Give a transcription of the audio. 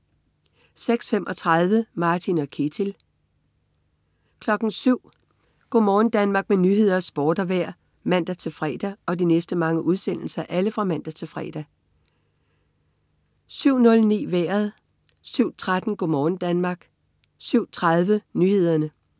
06.35 Martin og Ketil (man-fre) 07.00 Go' morgen Danmark med nyheder, sport og vejr (man-fre) 07.00 Nyhederne og Sporten (man-fre) 07.09 Vejret (man-fre) 07.13 Go' morgen Danmark (man-fre) 07.30 Nyhederne (man-fre)